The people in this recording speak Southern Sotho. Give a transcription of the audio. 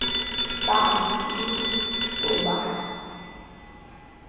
ba ngo le cbo ba